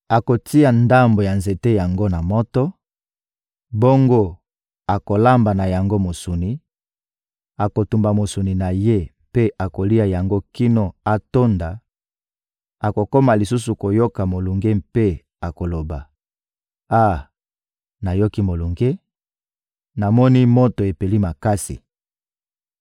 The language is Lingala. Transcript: Akotia ndambo ya nzete yango na moto, bongo akolamba na yango mosuni, akotumba mosuni na ye mpe akolia yango kino akotonda; akokoma lisusu koyoka molunge mpe akoloba: «Ah, nayoki molunge, namoni moto epeli makasi!»